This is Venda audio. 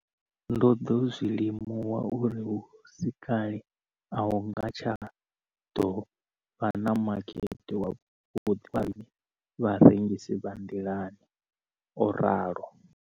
Ndo ḓo zwi limuwa uri hu si kale a hu nga tsha ḓo vha na makete wavhuḓi wa riṋe vharengisi vha nḓilani, o ralo.